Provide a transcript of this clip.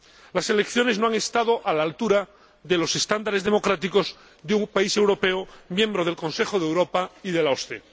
Las elecciones no han estado a la altura de los estándares democráticos de un país europeo, miembro del Consejo de Europa y de la OSCE.